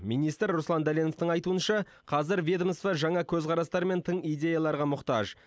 министр руслан дәленовтың айтуынша қазір ведомство жаңа көзқарастар мен тың идеяларға мұқтаж